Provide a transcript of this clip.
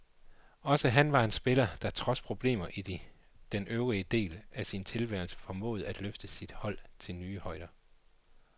Også han var en spiller, der trods problemer i den øvrige del af sin tilværelse formåede at løfte sit hold til nye højder.